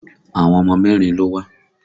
Àwọn ọmọ mẹ́rin ló wá